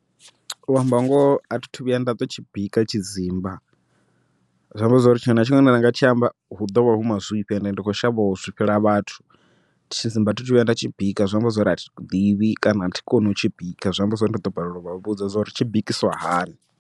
U amba ngoho athi thu vhuya nda to tshi bika tshidzimba, zwi amba zwori tshiṅwe na tshiṅwe tshine ranga tshi amba hu ḓovha hu mazwifhi, ende ndi kho shavha u zwifhela vhathu, tshidzimba thi thu vhuya nda tshi bika zwi amba zwori a thi ḓivhi kana a thi koni u tshi bika zwi amba zwori ndi ḓo balelwa u vha vhudza zwauri tshi bikisiwa hani.